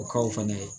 O kaw fɛnɛ